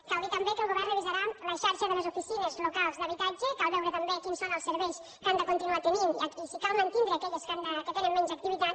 cal dir també que el govern revisarà la xarxa de les oficines locals d’habitatge cal veure també quins són els serveis que han de continuar tenint i si cal mantindre aquelles que tenen menys activitat